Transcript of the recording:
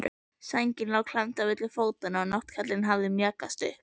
Sængin lá klemmd milli fótanna og náttkjóllinn hafði mjakast upp.